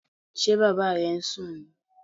Ṣé Bàbá rẹ̀ ń sún nì?